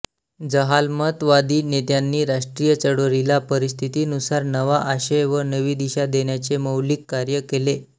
जहालमतवादी नेत्यांनी राष्ट्रीय चळवळीला परिस्थितीनुसार नवा आशय व नवी दिशा देण्याचे मौलिक कार्य केले